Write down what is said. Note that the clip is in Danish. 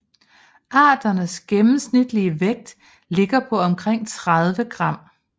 Arternes gennemsnitlige vægt ligger på omkring 30 gram